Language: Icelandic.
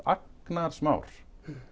agnarsmár